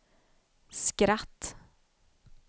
skratt